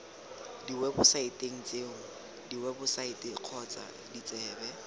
diwebosaeteng tseo diwebosaete kgotsa ditsebe